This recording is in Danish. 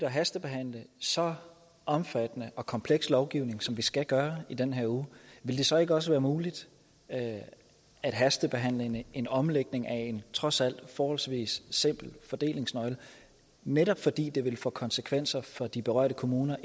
at hastebehandle så omfattende og kompleks lovgivning som vi skal gøre i den her uge ville det så ikke også være muligt at hastebehandle en omlægning af en trods alt forholdsvis simpel fordelingsnøgle netop fordi det vil få konsekvenser for de berørte kommuner